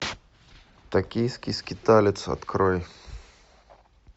токийский скиталец открой